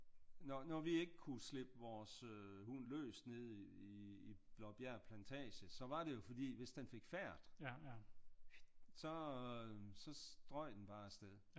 Når vi ikke kunne slippe vores hund løs nede i Blåbjerg plantage så var det jo fordi at hvis den fik fært så strøg den bare af sted